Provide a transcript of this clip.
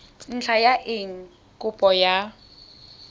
ntlha ya eng kopo ya